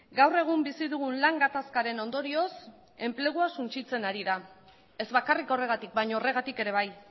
gaur egun bizi dugun lan gatazkaren ondorioz enplegua suntsitzen ari da ez bakarrik horregatik baina horregatik ere bai